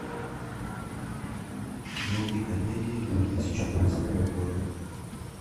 найти комедии две тысячи двадцатого года